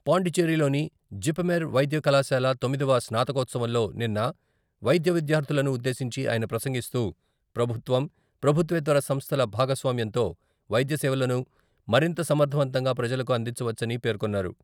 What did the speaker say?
పాండిచ్చేరిలోని ' JIPMER ' వైద్య కళాశాల తొమ్మిదవ స్నాతకోత్సవంలో నిన్న వైద్యవిద్యార్థులను ఉద్దేశించి ఆయన ప్రసంగిస్తూ, ప్రభుత్వం, ప్రభుత్వేతర సంస్థల భాగస్వామ్యంతో వైద్యసేవలను మరింత సమర్ధవంతంగా ప్రజలకు అందించవచ్చని పేర్కొన్నారు.